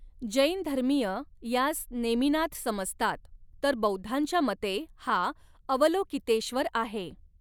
जैन धर्मीय यास नेमीनाथ समजतात तर बौद्धांच्या मते हा अवलोकितेश्वर आहे.